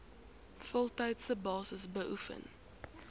voltydse basis beoefen